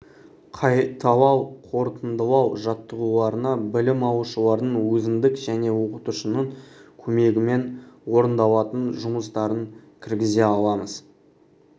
қайталау қорытындылау жаттығуларына білім алушылардың өзіндік және оқытушының көмегімен орындалатын жұмыстарын кіргізе аламыз